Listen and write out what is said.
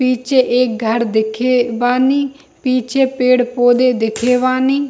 पीछे एक घर देखे बानी पीछे पेड़-पौधे देखे बानी।